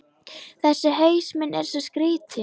Þessi haus minn er svo skrýtinn.